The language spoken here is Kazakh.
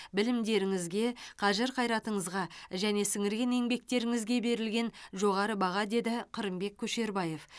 білімдеріңізге қажыр қайратыңызға және сіңірген еңбектеріңізге берілген жоғары баға деді қырымбек көшербаев